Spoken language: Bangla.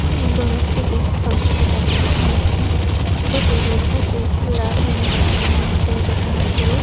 এখানে বড় একটি গেস্ট হাউস কে দেখানো হয়েছে। যেটির লেখাটি একটি লাল রঙের ব্যানার এর মধ্যে দোকানের ওপরে।